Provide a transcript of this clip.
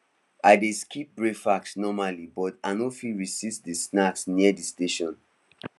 i dey skip breakfast normally but i no fit resist the snacks near the station